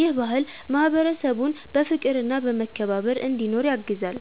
ይህ ባህል ማህበረሰቡን በፍቅርና በመከባበር እንዲኖር ያግዛል።